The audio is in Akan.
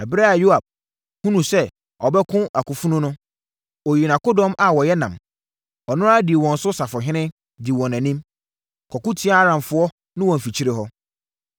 Ɛberɛ a Yoab hunuu sɛ ɔbɛko akofanu no, ɔyii akodɔm a wɔyɛ nnam. Ɔno ara dii wɔn so safohene, dii wɔn anim, kɔko tiaa Aramfoɔ no wɔ mfikyire hɔ.